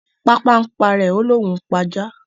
Pàpà ń p'ara rẹ o lòún pá àjá